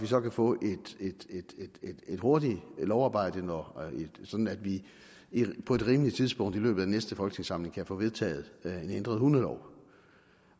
så kan få et hurtigt lovarbejde sådan at vi på et rimeligt tidspunkt i løbet af næste folketingssamling kan få vedtaget en ændret hundelov